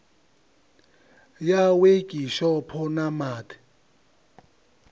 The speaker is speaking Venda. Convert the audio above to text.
ya wekhishopho na ma ḓ